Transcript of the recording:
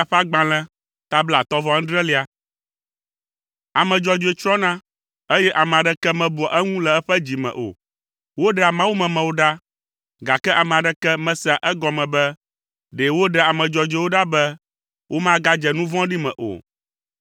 Ame dzɔdzɔe tsrɔ̃na, eye ame aɖeke mebua eŋu le eƒe dzi me o. Woɖea Mawumemewo ɖa, gake ame aɖeke mesea egɔme be ɖe woɖea ame dzɔdzɔewo ɖa be womagadze nu vɔ̃ɖi me o.